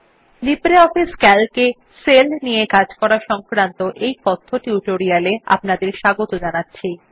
LibreOffice CALC এ cell নিয়ে কাজ সংক্রান্ত এই কথ্য টিউটোরিয়াল এ আপনাকে স্বাগত জানাচ্ছি